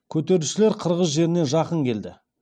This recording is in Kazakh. көтерілісшілер қырғыз жеріне жақын келді